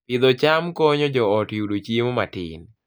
Pidho cham konyo joot yudo chiemo matin